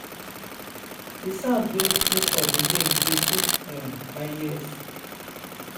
di sounds wey nature dey make dey sooth um my ears.